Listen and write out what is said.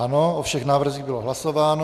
Ano, o všech návrzích bylo hlasováno.